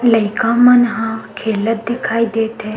लइका मन ह खेलत दिखाई देत हे।